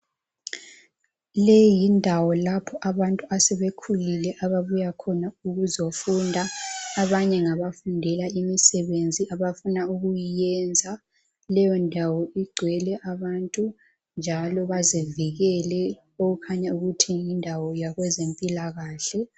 Leyi yindawo lapho abantu asebekhulile ababuya khona ukuzofunda. Abanye ngabafundela imisebenzi abafuna ukuyiyenza. Leyondawo igcwele abantu njalo bazivikele okukhanya ukuthi yindawo yakwezempilakahle.